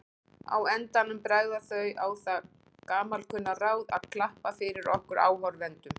Á endanum bregða þau á það gamalkunna ráð að klappa fyrir okkur áhorfendum.